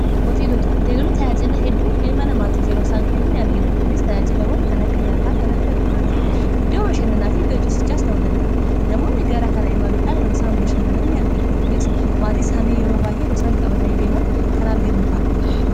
Hooteeloonni tayaajilla hedduu ilma namaatii teeroosaan kennan ni argina. Kunis tayaajilawwan kan akka nyaataa kan akka dhugaatii hiddoo bashannanaa fi hiddo ciisichaas ta'uu danda'a. Namoonni gaara kana imaluudhaan rosaan bashannanaa ni argina. Kunis maatiis hani yeroo baa'ee roosaan qabatanii deeman kan arginu ta'a.